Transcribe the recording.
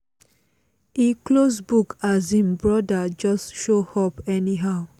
e close book as im broda just show up anyhow